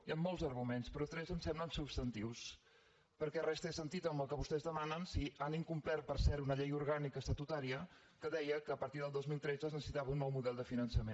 hi han molts arguments però tres em semblen substantius perquè res té sentit amb el que vostès demanen si han incomplert per cert una llei orgànica estatutària que deia que a partir del dos mil tretze es necessitava un nou model de finançament